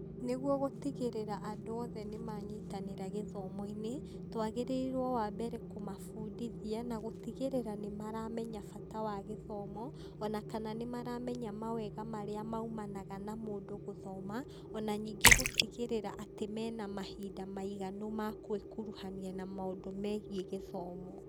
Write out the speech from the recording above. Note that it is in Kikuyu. Nĩguo gũtigĩrĩra andũ othe nĩ manyitanĩra gĩthomo-inĩ, twagĩrĩirwo wa mbere kũmabundithia na gũtigĩrĩra nĩ maramenya bata wa gĩthomo, ona kana nĩ maramenya mawega marĩa maumanaga na mũndũ gũthoma. Ona ningĩ gũtigĩrĩra atĩ mena mahinda maiganu ma kwĩkuruhania na maũndũ megiĩ gĩthomo.